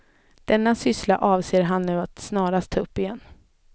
Denna syssla avser han nu att snarast ta upp igen.